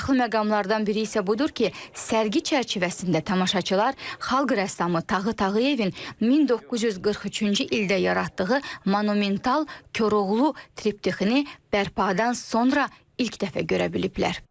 Maraqlı məqamlardan biri isə budur ki, sərgi çərçivəsində tamaşaçılar Xalq rəssamı Tağı Tağıyevin 1943-cü ildə yaratdığı monumental Koroğlu triptixini bərpadan sonra ilk dəfə görə biliblər.